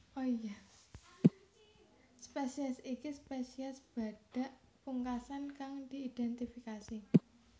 Spesies iki spesies badhak pungkasan kang diidhentifikasi